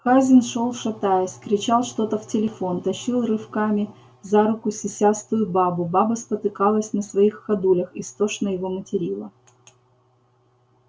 хазин шёл шатаясь кричал что-то в телефон тащил рывками за руку сисястую бабу баба спотыкалась на своих ходулях истошно его материла